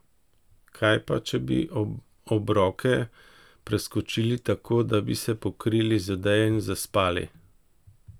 Kaj pa, če bi obroke preskočili tako, da bi se pokrili z odejo in zaspali?